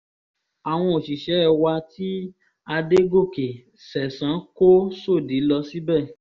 àwọn òṣìṣẹ́ wa tí àdògòkè ṣẹ̀san kó sòdí lọ síbẹ̀